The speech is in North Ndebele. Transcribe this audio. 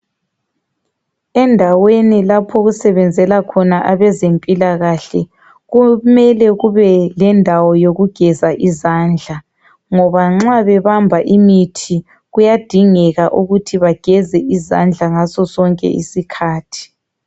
Endaweni lapho okusebezela khona abezimpilakahle kumele kube lendawo yokugeza izandla ngoba nxa bebamba imithi kuyadingeka ukuthi bageze izandla ngaso sonke isikhathi .